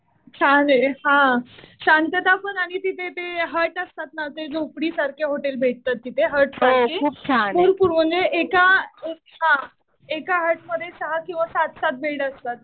छान आहे हा. शांतता पण आणि तिथे ते हट असतात ना. ते झोपडीसारखे हॉटेल भेटतात तिथे हट सारखे. खूप खूप म्हणजे एका हट मध्ये सहा किंवा सात-सात बिल्डर्स